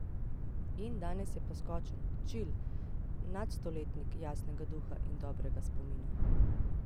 In danes je poskočen, čil nadstoletnik jasnega duha in dobrega spomina!